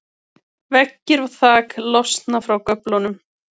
veggir og þak losna frá göflunum